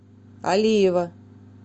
алиева